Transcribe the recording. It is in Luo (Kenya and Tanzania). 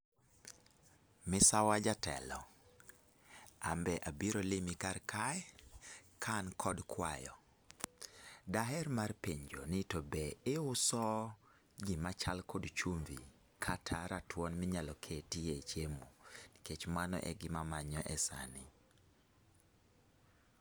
Misawa jatelo, ambe abiro limi kar kae ka an kod kwayo. Daher mar penjo ni to be iuso gima chal kod chumbi kata ratuon minyalo ketie chiemo?. Nikech mano e gima manyo e sani